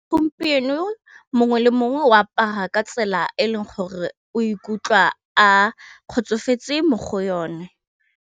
Gompieno mongwe le mongwe o apara ka tsela e leng gore o ikutlwa a kgotsofetse mo go yone.